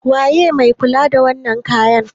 waye mai kula da wannan kayan?